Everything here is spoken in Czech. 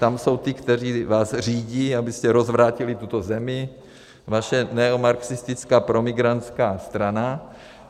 Tam jsou ti, kteří vás řídí, abyste rozvrátili tuto zemi, vaše neomarxistická promigrantská strana.